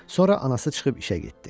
Sonra anası çıxıb işə getdi.